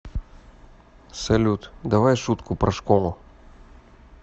салют давай шутку про школу